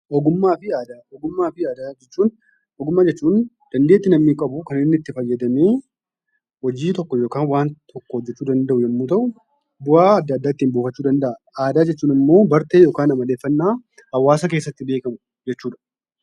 Ogummaa fi aadaa jechuun ogummaa jechuun dandeettii namni qabu kan namni itti fayyadamee hojii tokko yookaan waanta tokko hojjechuu danda'u yommuu ta'u, bu'aa adda addaa ittiin buufachuu danda'a. Aadaa jechuun immoo bartee yookaan amaleeffannaa hawaasa keessatti kan beekamu jechuudha.